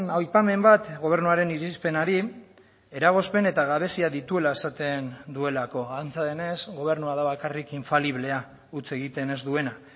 aipamen bat gobernuaren irizpenari eragozpen eta gabezia dituela esaten duelako antza denez gobernua da bakarrik infaliblea huts egiten ez duena